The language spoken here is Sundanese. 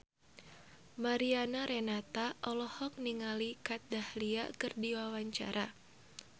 Mariana Renata olohok ningali Kat Dahlia keur diwawancara